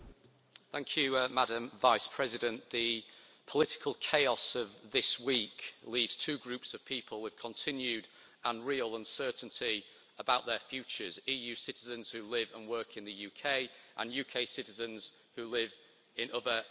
Madam President, the political chaos of this week leaves two groups of people with continued and real uncertainty about their futures, EU citizens who live and work in the UK and UK citizens who live in other Member States.